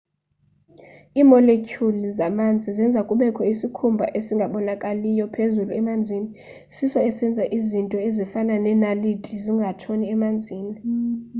iimoletyhuli zamanzi zenza kubekho isikhumba esingabonakaliyo phezulu emanzini siso esenza izinto ezifana neenaliti zingatshoni emanzini